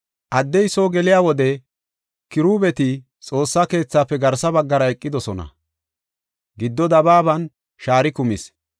Addey soo geliya wode Kirubeeti Xoossa keethafe garsa baggara eqidosona; giddo dabaaban shaari kumis.